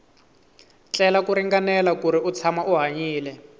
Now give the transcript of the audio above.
tlela ku ringanela kuri u tshama u hanyile